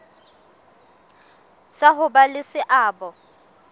sa ho ba le seabo